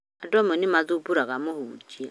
Andũ amwe nĩ mathumbũraga mũhunjia